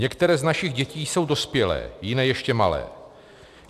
Některé z našich dětí jsou dospělé, jiné ještě malé.